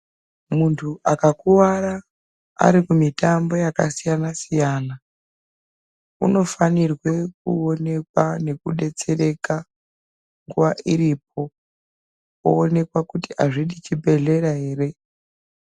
Muntu akakuwara Ari kumutambo wakasiyana siyana anofanirwa kuonekwa nekudetsereka nguwa iripo oonekwa kuti azvidi chibhedhlera here.